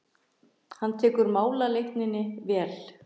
Hann tekur málaleitaninni vel.